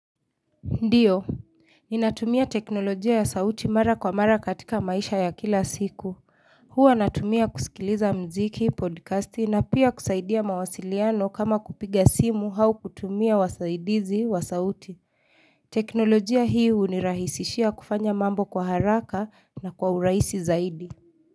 Ndio, ninatumia teknolojia ya sauti mara kwa mara katika maisha ya kila siku. Huwa natumia kusikiliza muziki, podcasti na pia kusaidia mawasiliano kama kupiga simu au kutumia wasaidizi wa sauti. Teknolojia hii hunirahisishia kufanya mambo kwa haraka na kwa urahisi zaidi.